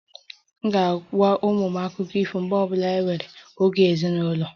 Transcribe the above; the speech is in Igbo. M ga-agwa ụmụ m akụkọ ifo mgbe ọ bụla anyị nwere oge ezinụlọ